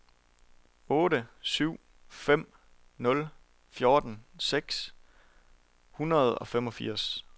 otte syv fem nul fjorten seks hundrede og femogfirs